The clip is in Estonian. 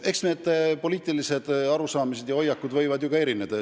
Eks poliitilised arusaamad ja hoiakud võivadki erineda.